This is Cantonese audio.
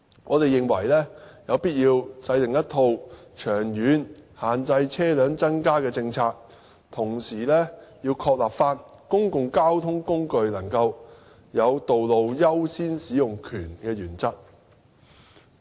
我們認為有必要制訂一套長遠限制車輛增加的政策，同時要確立公共交通工具能夠有道路優先使用權的原則。